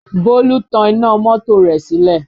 Bólú tan iná mọ́tò rẹ̀ sílẹ̀